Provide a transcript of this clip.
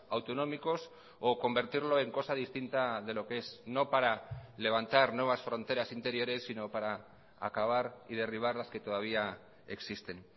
autonómicos o convertirlo en cosa distinta de lo que es no para levantar nuevas fronteras interiores sino para acabar y derribar las que todavía existen